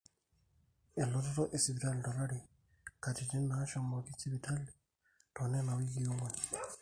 elototo esipitali tolari, katitin naashomoki sipitali toonena wikii ong'wan